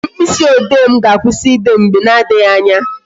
Mkpịsị ode m ga-akwụsị ide mgbe na adịghị anya